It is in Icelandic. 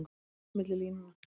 Hann las milli línanna.